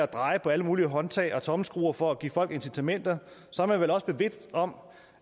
drejer på alle mulige håndtag og tommelskruer for at give folk incitamenter så er man vel også bevidst om